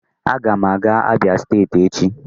Aga m aga Abia steeti echi